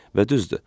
Və düzdür.